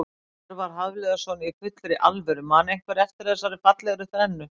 Hjörvar Hafliðason Í fullri alvöru man einhver eftir fallegri þrennu?